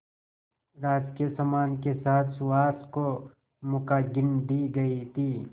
राजकीय सम्मान के साथ सुहास को मुखाग्नि दी गई थी